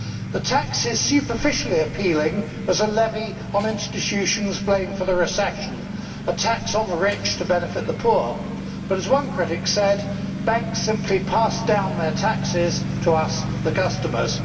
The tax is superficially appealing as a levy on institutions blamed for the recession a tax on the rich to benefit the poor. But, as one critic said banks simply pass down their taxes to us, the customers.